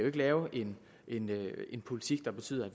ikke lave en en politik der betyder